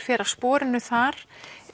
fer af sporinu þar